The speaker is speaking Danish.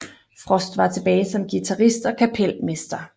Frost var tilbage som guitarist og kapelmester